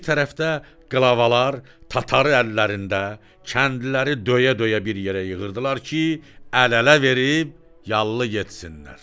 Bir tərəfdə qlavalar, tatarı əllərində, kəndliləri döyə-döyə bir yerə yığırdılar ki, əl-ələ verib yallı getsinlər.